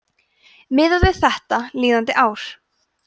miðað við þetta líðandi ár